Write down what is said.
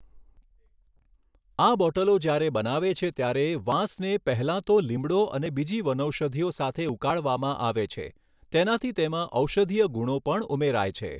આ બોટલો જ્યારે બનાવે છે ત્યારે વાંસને પહેલાં તો લીમડો અને બીજી વનૌષધિઓ સાથે ઉકાળવામાં આવે છે તેનાથી તેમાં ઔષધિય ગુણો પણ ઉમેરાય છે.